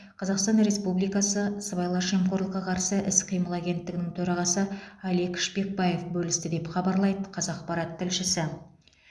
қазақстан республикасы сыбайлас жемқорлыққа қарсы іс қимыл агенттігінің төрағасы алик шпекбаев бөлісті деп хабарлайды қазақпарат тілшісі